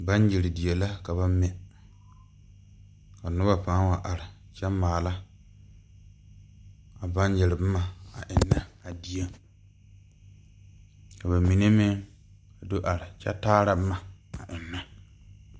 Banyere die la ka ba mɛ ka noba paa wa are kyɛ ka ba maala a banyere boma a ennɛ a dieŋ ka bamine meŋ do are kyɛ kaara boma.